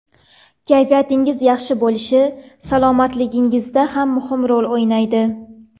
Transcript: Kayfiyatingiz yaxshi bo‘lishi salomatligingizda ham muhim rol o‘ynaydi.